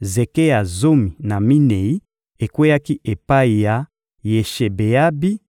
zeke ya zomi na minei ekweyaki epai ya Yeshebeabi;